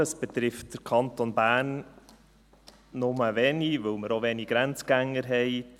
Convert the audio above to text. Es betrifft den Kanton Bern nur wenig, weil wir auch wenig Grenzgänger haben.